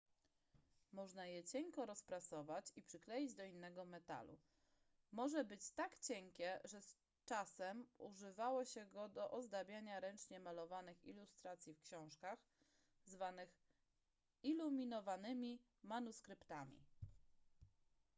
można je cienko rozprasować i przykleić do innego metalu może być tak cienkie że czasem używało się go do ozdabiania ręcznie malowanych ilustracji w książkach zwanych iluminowanymi manuskryptami